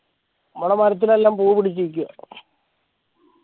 നമ്മളെ മരത്തിലില്ലൊ പൂ പിടിചിരിക്ക